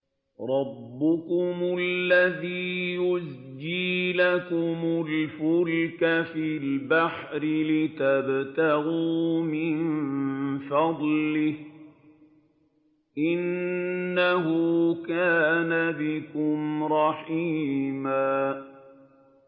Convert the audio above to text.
رَّبُّكُمُ الَّذِي يُزْجِي لَكُمُ الْفُلْكَ فِي الْبَحْرِ لِتَبْتَغُوا مِن فَضْلِهِ ۚ إِنَّهُ كَانَ بِكُمْ رَحِيمًا